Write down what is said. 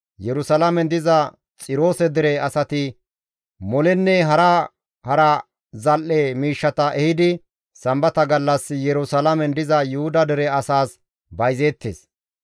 Yerusalaamen diza Xiroose dere asati Molenne hara hara zal7e miishshata ehidi Sambata gallas Yerusalaamen diza Yuhuda dere asaas bayzeettes;